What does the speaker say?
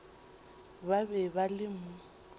ba be ba le mo